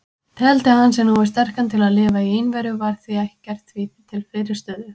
Teldi hann sig nógu sterkan til að lifa í einveru, var ekkert því til fyrirstöðu.